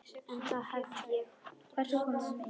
En það hef ég gert.